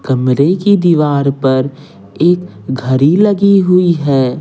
कमरे की दीवार पर एक घड़ी लगी हुई है।